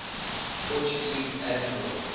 portuguese admirals